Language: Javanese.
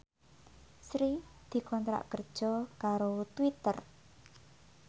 Sri dikontrak kerja karo Twitter